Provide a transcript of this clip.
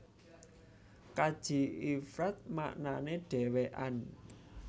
Kaji Ifrad maknané dhèwèkan